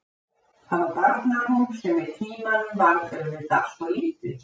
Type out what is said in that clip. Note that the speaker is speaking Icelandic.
Það var barnarúm sem með tímanum varð auðvitað allt of lítið.